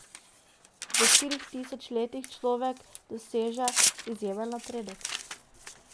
V štirih tisoč letih človek doseže izjemen napredek.